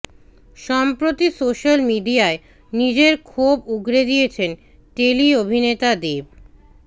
সম্প্রতি সোশ্যাল মিডিয়ায় নিজের ক্ষোভ উগরে দিয়েছেন টেলি অভিনেতা দেব